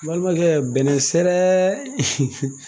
N balimakɛ bɛnɛn sɛrɛ